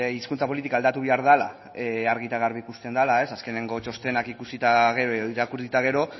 hizkuntza politika aldatu behar dela argi eta garbi ikusten dela azkeneko txostenak ikusita gero edo irakurri eta gero